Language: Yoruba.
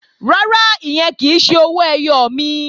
Rárá, ìyẹn kì í ṣe owó ẹyọ mi